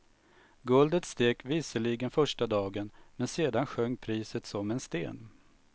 Guldet steg visserligen första dagen, men sedan sjönk priset som en sten.